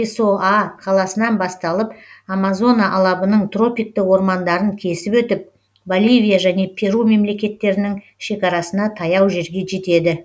песоа қаласынан басталып амазона алабының тропикті ормандарын кесіп өтіп боливия және перу мемлекеттерінің шекарасына таяу жерге жетеді